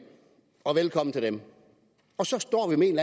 og velkommen til dem og så står vi med en